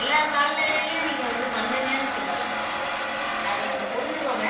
எல்லா காலநிலைலயும் நீங்க வந்து பண்ணுங்கன்னு சொல்லல அது கொஞ்சம் புரிஞ்சுக்கோங்க